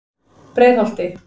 Breiðholti